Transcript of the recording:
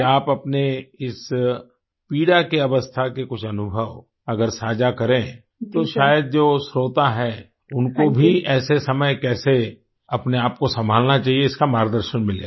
कि आप अपने इस पीड़ा की अवस्था के कुछ अनुभव अगर सांझा करें तो शायद जो श्रोता है उनको भी ऐसे समय कैसे अपने आप को संभालना चाहिए इसका मार्गदर्शन मिलेगा